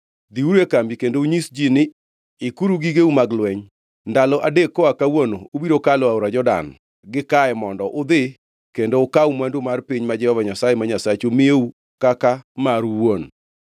“Dhiuru e kambi kendo unyis ji ni, ‘Ikuru gigeu mag lweny. Ndalo adek koa kawuono ubiro kalo aora Jordan gikae mondo udhi kendo ukaw mwandu mar piny ma Jehova Nyasaye ma Nyasachu miyou kaka maru owuon.’ ”